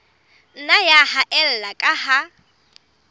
nna ya haella ka ha